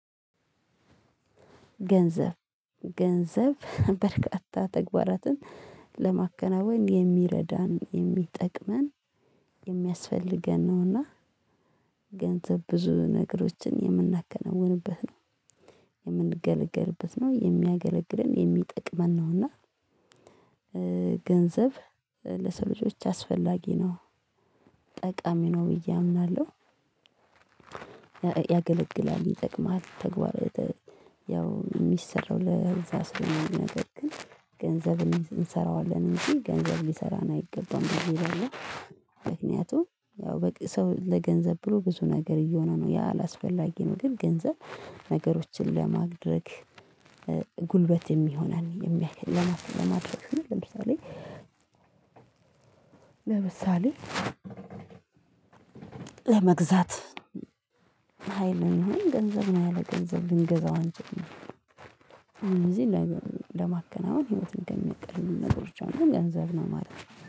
ገንዘብ ገንዘብ በርካታ ተግባራትን ለማከናወን የሚረዳን የሚጠቅመን የሚያስፈልገን ነውና። ገንዘብ ብዙ ነገሮችን የምናከናውንበት ነው የምንገለገልበት ነው የሚያገለግለን የሚጠቅመን ነው። እና ገንዘብ ለሰው ልጆች አስፈላጊ ነው ጠቃሚ ነው ብዬ አምናለሁ። ያገለግላል ይጠቅማል ተግባር ያው የሚሰራው ለእዛ ስለሆነ ነገር ግን ገንዘብ እንሰራዋለን እንጂ ገንዘብ ሊሰራን አይገባም ይላል። ምክንያቱም ያው በቃ ሰው ለገንዘብ ብሎ ብዙ ነገር እየሆነ ነው ያ አላስፈላጊ ነው። ግን ገንዘብ ነገሮችን ለማድረግ ጉልበት የሚሆነን የሚያክል ለማድረስ ለምሳሌ። ለምሳሌ ለመግዛት ሀይል ነው ገንዘብ ነው ያለ ገንዘብ ልንገዛው አንችልም። እኔ ለማከናወን ህይወትን ከሚያቀሉልን ነገሮች አንዱ ገንዘብ ነው ማለት ነው